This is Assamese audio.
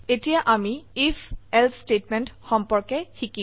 এতিয়া আমি ifএলছে স্টেটমেন্ট সম্পর্কে শিকিম